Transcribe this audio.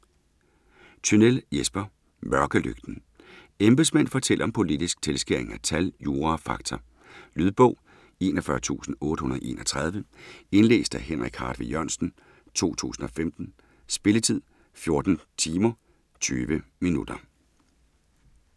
Tynell, Jesper: Mørkelygten Embedsmænd fortæller om politisk tilskæring af tal, jura og fakta. Lydbog 41831 Indlæst af Henrik Hartvig Jørgensen, 2015. Spilletid: 14 timer, 20 minutter.